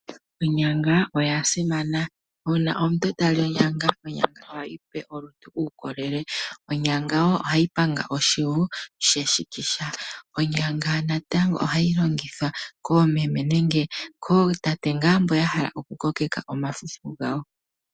Onyanga oya simana, uuna omuntu tali onyanga, onyanga ohayi mupe uukolele. Onyanga wo ohayi panga oshivu she shikisha. Onyanga natango ohayi longithwa koomeme nenge kootate ngaa mbo ya hala oku kokeka omafufu gawo.